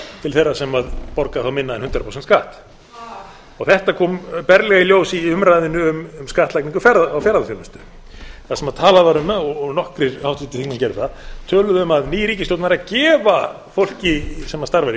til þeirra sem borga þá minna en hundrað prósent skatt þetta kom berlega í ljós í umræðunni um skattlagningu á ferðaþjónustu þar sem talað var um og nokkrir háttvirtir þingmenn gerðu það töluðu um að ný ríkisstjórn væri að gefa fólki sem starfar í